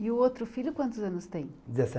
E o outro filho quantos anos tem?